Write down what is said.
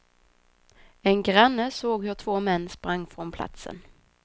En granne såg hur två män sprang från platsen.